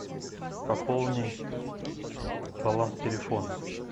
пополни баланс телефона